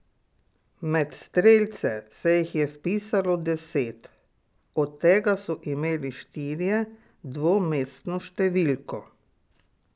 Med strelce se jih je vpisalo deset, od tega so imeli štirje dvomestno številko.